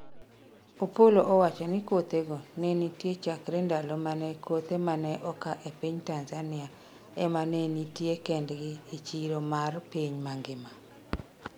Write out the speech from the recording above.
Opollo owacho ni kothego nitie chakre ndalo mane kothe mane oka e piny Tanzania ema ne nitie kendgi e chiro mar piny mangima